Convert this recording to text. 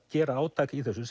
gera átak í þessu